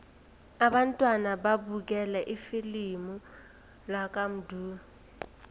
abantwana babukele ifilimu lakamdu